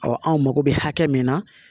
anw mako bɛ hakɛ min na